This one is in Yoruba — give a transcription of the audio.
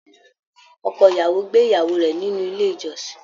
Ọkọ ìyàwó gbé ìyàwó rẹ nínú ilé ìjọsìn.